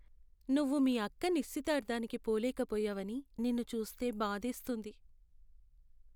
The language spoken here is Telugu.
నువ్వు మీ అక్క నిశ్చితార్థానికి పోలేకపోయావని నిన్ను చూస్తే బాధేస్తుంది.